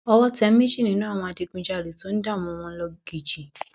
owó tẹ méjì nínú àwọn adigunjalè tó ń dààmú wọn lọgìjì